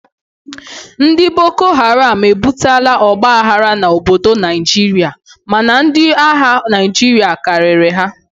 Ndị bokoharam ebutela ọgba aghara n'obodo Naijiria mana ndi agha Naijiria karịrị ha